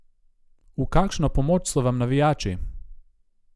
V kakšno pomoč so vam navijači?